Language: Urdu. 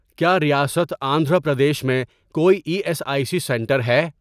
کیا ریاست آندھرا پردیش میں کوئی E S I C centre ہے؟